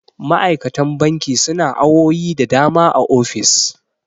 ma'aikatan banki suna awowi da dama a ofis